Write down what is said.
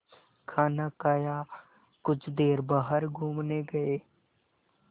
खाना खाया कुछ देर बाहर घूमने गए